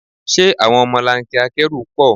Ṣé àwọn ọmọlanke akẹ́rù pọ̀?